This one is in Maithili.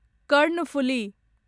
कर्णफुली